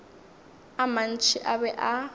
a mantši a be a